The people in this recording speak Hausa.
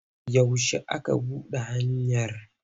Yaushe aka buɗe hanyar?